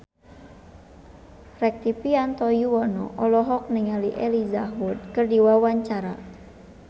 Rektivianto Yoewono olohok ningali Elijah Wood keur diwawancara